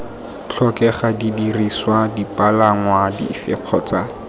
tlhokega didirisiwa dipalangwa dife kgotsa